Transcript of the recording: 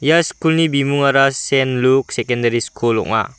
ia skulni bimingara sen luk sekendari skul ong·a.